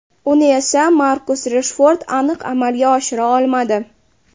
Uni esa Markus Reshford aniq amalga oshira olmadi.